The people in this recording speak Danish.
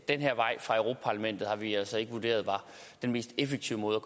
den her vej fra europa parlamentet har vi altså ikke vurderet var den mest effektive